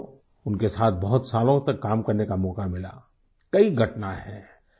वैसे तो उनके साथ बहुत सालों तक काम करने का मौका मिला कई घटना हैं